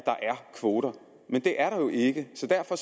kvoter men det er der jo ikke så derfor